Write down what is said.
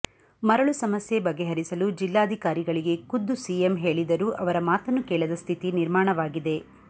ಮರಳು ಸಮಸ್ಯೆ ಬಗೆಹರಿಸಲು ಜಿಲ್ಲಾಧಿಕಾರಿಗಳಿಗೆ ಖುದ್ದು ಸಿಎಂ ಹೇಳಿದರೂ ಅವರ ಮಾತನ್ನು ಕೇಳದ ಸ್ಥಿತಿ ನಿರ್ಮಾಣವಾಗಿದೆ